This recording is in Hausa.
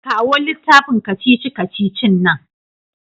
Kawo littafin kacici-kacicin nan.